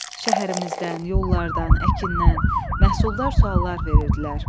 Şəhərimizdən, yollardan, əkindən, məhsuldar suallar verirdilər.